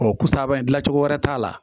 Ɔ ko sababu ye dilancogo wɛrɛ t'a la